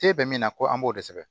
K'e bɛ min na ko an b'o de sɛbɛn